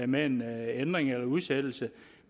med en ændring eller en udsættelse